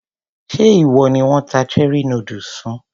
Ṣé ìwọ ni wón ta cherie noodles fún?